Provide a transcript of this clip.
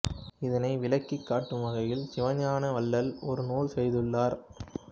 இதனை விளக்கிக் காட்டும் வகையில் சிவஞான வள்ளல் ஒரு நூல் செய்துள்ளார்